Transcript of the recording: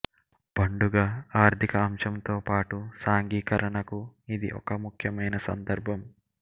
పండుగ ఆర్థిక అంశంతో పాటు సాంఘికీకరణకు ఇది ఒక ముఖ్యమైన సందర్భం